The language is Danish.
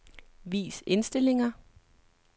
Vis indstillinger.